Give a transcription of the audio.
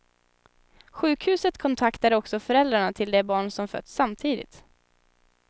Sjukhuset kontaktade också föräldrarna till de barn som fötts samtidigt.